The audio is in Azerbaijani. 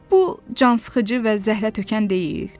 Bu cansıxıcı və zəhlətökən deyil?